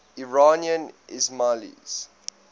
iranian ismailis